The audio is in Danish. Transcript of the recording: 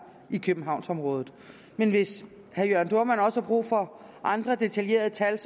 i københavnsområdet hvis herre jørn dohrmann også har brug for andre detaljerede tal